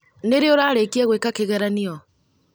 Nĩ rĩ ũrarĩkia gũeka kĩgeranio?